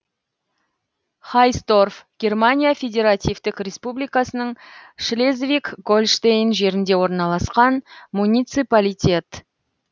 хойсдорф германия федеративтік республикасының шлезвиг гольштейн жерінде орналасқан муниципалитет